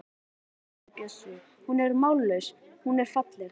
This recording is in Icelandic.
Verum raunsæ, sagði Bjössi, hún er mállaus, hún er falleg.